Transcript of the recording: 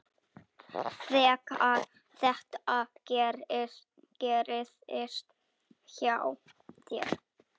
Þegar þetta gerðist hjá þér.